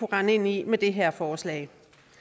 rende ind i med det her forslag